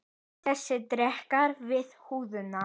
Þessi dekrar við húðina.